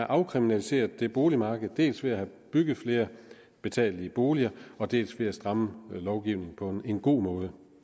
afkriminaliseret det boligmarked dels ved at få bygget flere betalelige boliger dels ved at stramme lovgivningen på en god måde